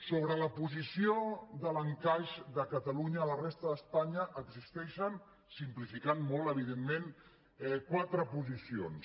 sobre la posició de l’encaix de catalunya a la resta d’espanya existeixen simplificant ho molt evidentment quatre posicions